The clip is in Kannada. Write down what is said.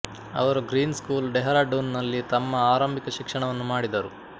ಅವರು ಗ್ರೀನ್ ಸ್ಕೂಲ್ ಡೆಹ್ರಾಡೂನ್ನಲ್ಲಿ ತಮ್ಮ ಆರಂಭಿಕ ಶಾಲಾ ಶಿಕ್ಷಣವನ್ನು ಮಾಡಿದರು